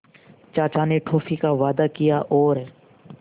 चाचा ने टॉफ़ी का वादा किया और